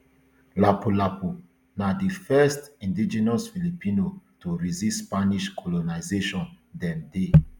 lapulapu na di the first indigenous filipino to resist spanish colonisation dem dey